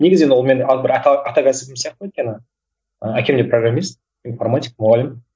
негізі енді ол менің бір ата ата кәсібім сияқты өйткені әкем де программист информатик мұғалім